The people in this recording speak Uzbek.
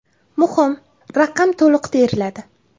Muhim: raqam to‘liq teriladi.